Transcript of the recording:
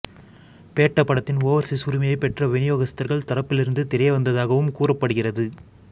பேட்ட படத்தின் ஓவர்சீஸ் உரிமையை பெற்ற விநியோகஸ்தர்கள் தரப்பிலிருந்து தெரியவந்ததாகவும் கூறப்படுகிறது